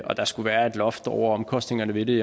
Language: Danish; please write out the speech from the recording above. der skulle være et loft over omkostningerne ved det